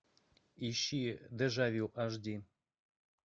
ищи дежавю аш ди